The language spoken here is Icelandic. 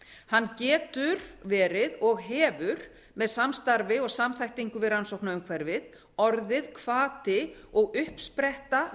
hann getur verið og hefur með samstarfi og samþættingu við rannsóknaumhverfið orðið hvati og uppspretta